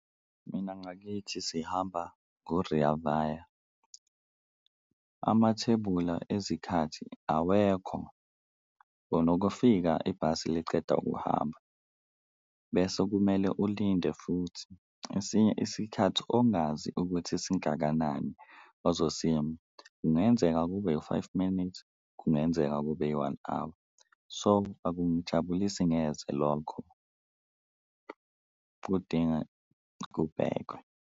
Mina ngakithi sihamba ngo-Rea Vaya amathebula ezikhathini awekho unokufika ibhasi liceda kuhamba, bese kumele ulinde futhi esinye isikhathi ongazi ukuthi singakanani ozosima, kungenzeka kube u-five minutes, kungenzeka kube i-one hour. So, akungijabulisi neze lokho kudinga kubhekwe.